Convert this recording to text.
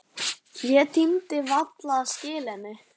Ég tímdi varla að skila henni.